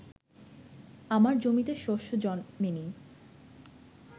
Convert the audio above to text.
আমার জমিতে শস্য জন্মে নি